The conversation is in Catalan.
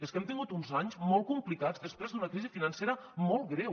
és que hem tingut uns anys molt complicats després d’una crisi financera molt greu